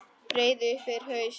Breiði upp yfir haus.